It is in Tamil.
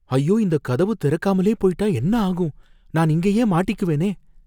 ஐயோ! இந்தக் கதவு திறக்காமலே போயிட்டா என்ன ஆகும், நான் இங்கேயே மாட்டிக்குவேனே!